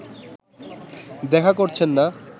দেখা করছেন না